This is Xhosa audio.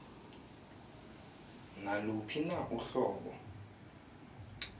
naluphi na uhlobo